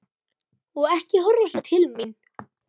Og ekki horfa svona til mín!